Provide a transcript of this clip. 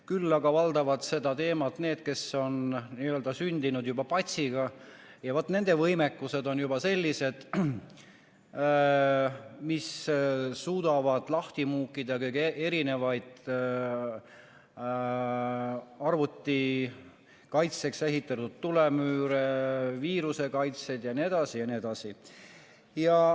Küll aga valdavad seda teemat need, kes on juba sündinud n-ö patsiga ja vaat nende võimekus on selline, et nad suudavad lahti muukida erinevaid arvuti kaitseks ehitatud tulemüüre, viirusekaitseid jne, jne.